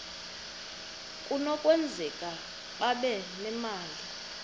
kunokwenzeka babe nemali